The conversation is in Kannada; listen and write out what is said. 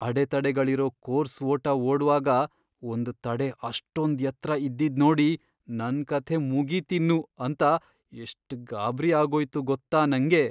ಅಡೆತಡೆಗಳಿರೋ ಕೋರ್ಸ್ ಓಟ ಓಡ್ವಾಗ ಒಂದ್ ತಡೆ ಅಷ್ಟೊಂದ್ ಎತ್ರ ಇದ್ದಿದ್ನೋಡಿ ನನ್ಕಥೆ ಮುಗೀತಿನ್ನು ಅಂತ ಎಷ್ಟ್ ಗಾಬ್ರಿ ಆಗೋಯ್ತು ಗೊತ್ತಾ ನಂಗೆ.